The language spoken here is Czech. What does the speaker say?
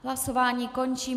Hlasování končím.